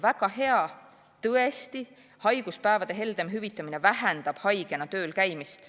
Väga hea, tõesti, haiguspäevade heldem hüvitamine vähendab haigena tööl käimist.